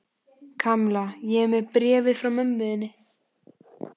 Kamilla, ég er með bréfið frá mömmu þinni.